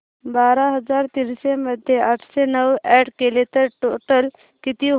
बारा हजार तीनशे मध्ये आठशे नऊ अॅड केले तर टोटल किती होईल